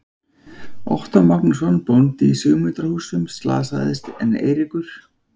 Ottó Magnússon, bóndi í Sigmundarhúsum, slasaðist en Eiríkur